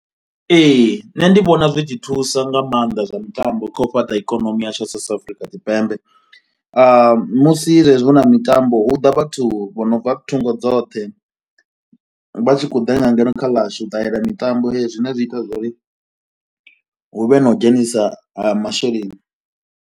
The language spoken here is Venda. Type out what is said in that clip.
Ee nṋe ndi vhona zwi tshi thusa nga mannḓa zwa mitambo kha u fhaṱa ikonomi yashu South Afrika Tshipembe. Musi zwezwi hu na mitambo hu ḓa vhathu vho no bva thungo dzoṱhe vha tshi khou ḓa nga ngeno kha ḽashu u ṱalela mitambo ne zwi ita uri hu vhe na u dzhenisa ha masheleni.